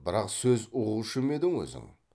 бірақ сөз ұғушы ма едің өзің